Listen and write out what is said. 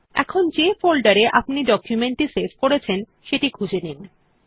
এখন যে ফোল্ডার এ আপনি ডকুমেন্ট টি সেভ করেছেন সেই খুঁজে নিন